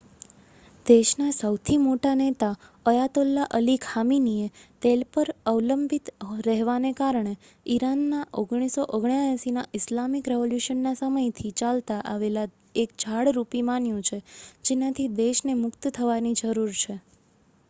દેશના સહુથી મોટા નેતા અયાતોલ્લા અલી ખામીનીએ તેલ પર અવલંબિત રહેવાને ઈરાનના 1979ના ઇસ્લામિક રેવોલ્યૂશનના સમયથી ચાલતા આવેલા એક જાળ રૂપી માન્યુ છે જેનાથી દેશને મુક્ત થવાની જરૂરત છે